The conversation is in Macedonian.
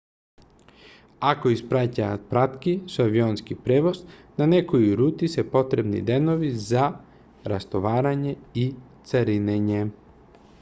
ако испраќаат пратки со авионски превоз на некои рути се потребни денови за растоварање и царинење